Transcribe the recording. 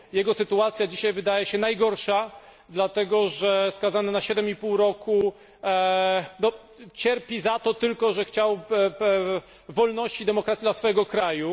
Jego sytuacja dzisiaj wydaje się najgorsza, dlatego że skazany na 7 i pół roku cierpi za to tylko, że chciał wolności i demokracji dla swojego kraju.